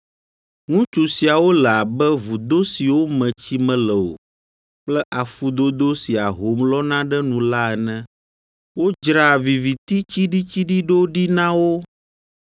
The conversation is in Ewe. Ŋutsu siawo le abe vudo siwo me tsi mele o kple afudodo si ahom lɔna ɖe nu la ene. Wodzra viviti tsiɖitsiɖi ɖo ɖi na wo.